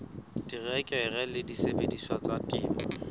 terekere le disebediswa tsa temo